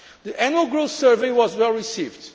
The Annual Growth Survey was well received.